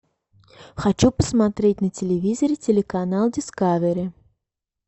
хочу посмотреть на телевизоре телеканал дискавери